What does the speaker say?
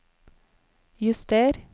juster